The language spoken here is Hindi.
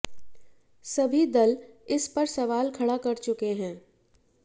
सभी दल इस पर सवाल खड़ा कर चुके हैं